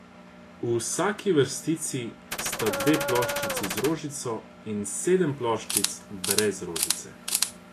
V vsaki vrstici sta dve ploščici z rožico in sedem ploščic brez rožice.